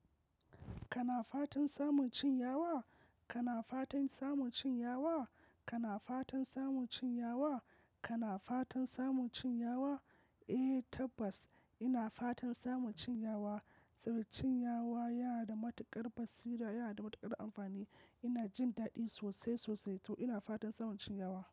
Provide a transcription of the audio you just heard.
Kana fatan samun cinyawa? Kana fatan samun cinyawa? Kana fatan samun cinyawa? Kana fatan samun cinyawa? Eh tabbas ina fatan samun cinyawa saboda cinyawa yana da matuƙar basira yana da matuƙar amfani. Ina jin daɗi sosai sosai to ina fatan samun cinyawa.